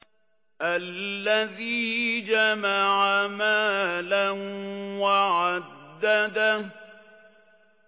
الَّذِي جَمَعَ مَالًا وَعَدَّدَهُ